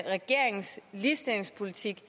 regeringens ligestillingspolitik